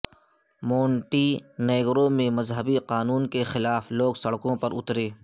مو نٹی نیگرو میں مذہبی قانون کے خلاف لوگ سڑکوں پر اترے